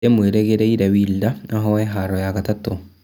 Nĩndĩmwĩrĩgĩire Wilder ahoe haro ya gatatũ